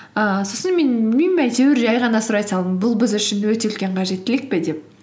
ііі сосын мен білмеймін әйтеуір жай ғана сұрай салдым бұл біз үшін өте үлкен қажеттілік пе деп